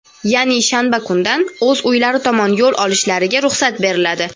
ya’ni shanba kundan o‘z uylari tomon yo‘l olishlariga ruxsat beriladi.